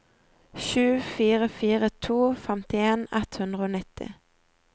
sju fire fire to femtien ett hundre og nitti